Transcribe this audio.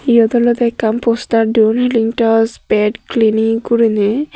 iyot olode ekkan poster duon healing touch pet clinic guriney.